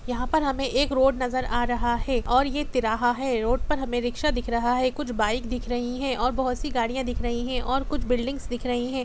यहा पर हमने एक रोड नजर आ रहा है और ये त्रिराहा है रोड पर में रीक्सा दिख रहा है कुछ बाइक दिख रही है और बहोत सी गाड़िया दिख रही है और कुछ बिल्डिंग्स दिख रही है।